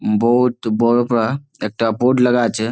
বহুত বড়ো পারা একটা বোর্ড লাগা আছে।